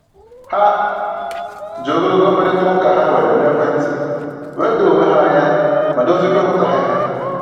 Ha ji ogologo mkparịta ụka ha nwere n'ekwentị were doo onwe ha anya ma doziekwa nghọtahie ha